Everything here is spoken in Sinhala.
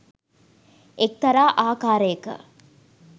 එක්තරා ආකාරයක